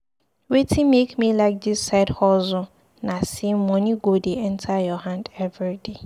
Wetin make me like side hustle na sey moni go dey enta your hand everyday.